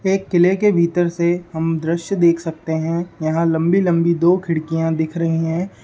एक किले के भीतर से हम द्रश्य देख सकते है यहाँ लम्बी लम्बी दो खिड़कियाँ दिख रही है।